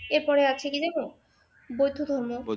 এরপরে আছে কি জানো বৌদ্ধ ধর্ম